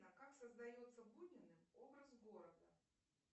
как создается буниным образ города